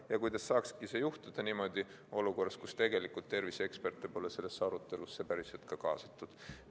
Ja kuidas saakski see juhtuda olukorras, kus terviseeksperte pole sellesse arutelusse päriselt kaasatud.